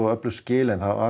öflug skil en það var